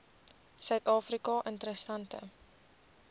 suid afrika interessante